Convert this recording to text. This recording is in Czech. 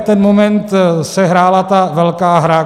V ten moment se hrála ta velká hra.